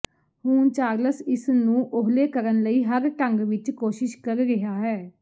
ਹੁਣ ਚਾਰਲਸ ਇਸ ਨੂੰ ਓਹਲੇ ਕਰਨ ਲਈ ਹਰ ਢੰਗ ਵਿੱਚ ਕੋਸ਼ਿਸ਼ ਕਰ ਰਿਹਾ ਹੈ